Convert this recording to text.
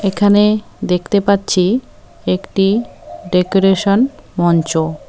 এখানে দেখতে পাচ্ছি একটি ডেকোরেশন মঞ্চ।